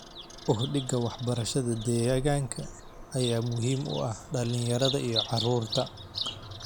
Uhdhigga waxbarashada deegaanka ayaa muhiim u ah dhalinyarada iyo carruurta.